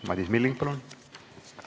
Madis Milling, palun!